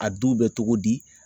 A duw bɛ cogo di